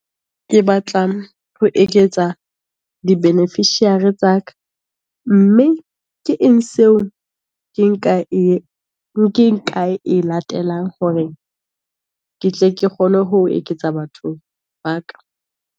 Ke batlang ho eketsa di beneficiary tsa ka, mme ke eng seo, ke nka e e latelang hore ke tle ke kgone ho eketsa bathong ba ka.